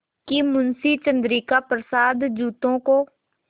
कि मुंशी चंद्रिका प्रसाद जूतों को